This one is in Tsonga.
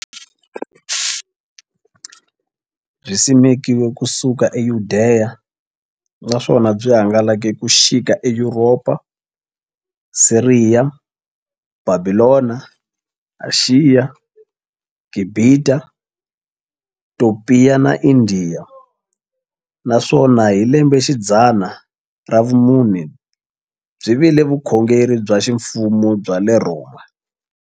Byisimekiwe ku suka eYudeya, naswona byi hangalake ku xika eYuropa, Siriya, Bhabhilona, Ashiya, Gibhita, Topiya na Indiya, naswona hi lembexidzana ra vumune byi vile vukhongeri bya ximfumo bya le Rhoma.